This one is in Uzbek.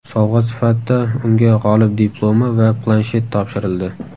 Sovg‘a sifatida unga g‘olib diplomi va planshet topshirildi.